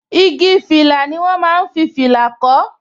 Igi fìlà ni wọn máa ń fi fìlà kó